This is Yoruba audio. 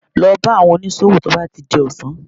Lọ bá àwọn oníṣòwò tí ó bá ti di ọ̀sán